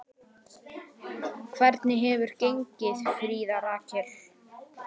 Hvernig hefur gengið, Fríða Rakel?